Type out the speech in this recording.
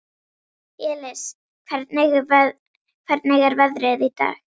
Elis, hvernig er veðrið í dag?